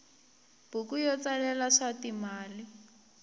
buku yo tsalela swa timali